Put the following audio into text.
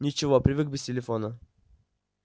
ничего привык без телефона